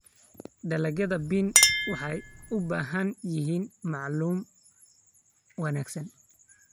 Dalagyada bean waxay u baahan yihiin maamul wanaagsan.